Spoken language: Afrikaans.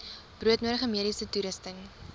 broodnodige mediese toerusting